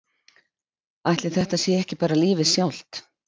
Ætli þetta sé ekki bara lífið sjálft?